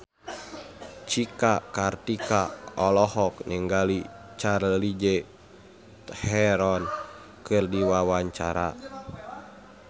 Cika Kartika olohok ningali Charlize Theron keur diwawancara